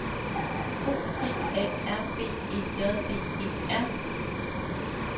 O P A R B E J D E R